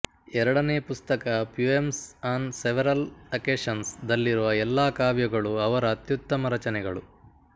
ಎರಡನೆ ಪುಸ್ತಕ poems on several occasions ದಲ್ಲಿರುವ ಎಲ್ಲಾ ಕಾವ್ಯಗಳು ಅವರ ಅತ್ಯುತ್ತಮ ರಚನೆಗಳು